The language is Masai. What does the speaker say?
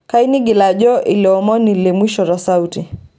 kayieu nigil ajo eleomoni lemwisho to sauti